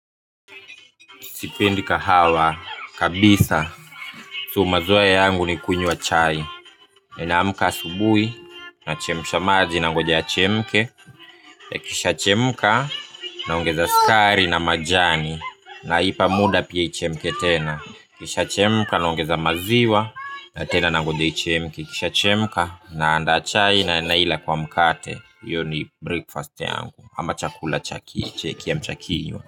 Sipendi kahawa kabisa, so maziwa yangu ni kunywa chai. Ninaamka asubuhi, nachemsha maji nangoja yachemke. Ikishachemka, naongeza sukari na majani. Naipa muda pia ichemke tena. Ikishachemka, naongeza maziwa, na tena nangoja ichemke, ikishachemka, naandaa chai na naila kwa mkate. Hiyo ni breakfast yangu, ama chakula cha kiamsha kinywa.